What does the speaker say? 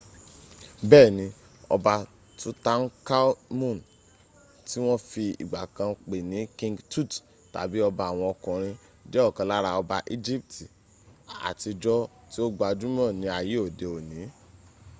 bẹ́ẹ̀ni ọba tutankhamun ti wọ́n fi ìgbà kan pè ní king tut tàbí ọba àwọn ọkùnrin jẹ́ ọ̀kan lára ọba egypt àtijọ́ tí ó gbajúmọ̀ ní ayé òdi òní